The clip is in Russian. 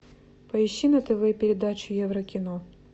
поищи на тв передачу еврокино